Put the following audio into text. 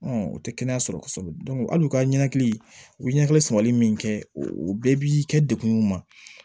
o tɛ kɛnɛya sɔrɔ kosɛbɛ hali u ka ɲɛni u ye ɲɛfɔli sabali min kɛ u bɛɛ bi kɛ dekun ma